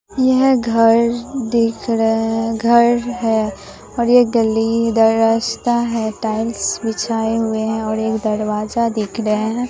यह घर दिख रहे हैं घर है और ये गली इधर रस्ता है टाइल्स बिछाए हुए हैं और एक दरवाजा दिख रहे हैं।